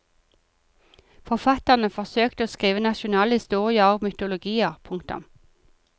Forfatterne forsøkte å skrive nasjonale historier og mytologier. punktum